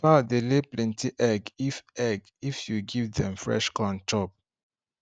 fowl dey lay plenty egg if egg if you give dem fresh corn chop